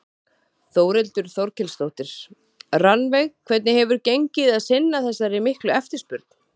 Þórhildur Þorkelsdóttir: Rannveig hvernig hefur gengið að sinna þessari miklu eftirspurn?